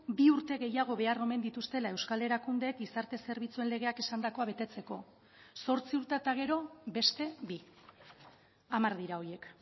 bi urte gehiago behar omen dituztela euskal erakundeek gizarte zerbitzuen legeak esandakoa betetzeko zortzi urte eta gero beste bi hamar dira horiek